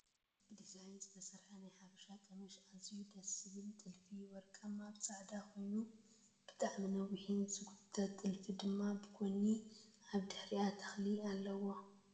ብዲዛይን ዝተሰርሐ ናይ ሓበሻ ቀምሽ ኣዝዩ ደስ ዝብል ጥልፉ ወርቃማ ኣብ ፃዕዳ ኮይኑ ብጣዕሚ ነዊሕ ዝገየተት ጥልፉ ድማ ብጎኒ ኣብ ድሕሪኣ ተክሊ ኣለዋ"